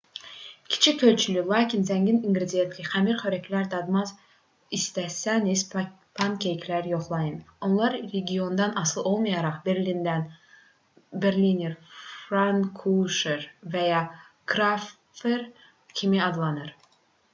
kiçik ölçülü lakin zəngin inqridiyentli xəmir xörəkləri dadmaq istəsəniz pankekləri yoxlayın onlar regiondan asılı olaraq berliner pfannkuchen və ya krapfen kimi adlanır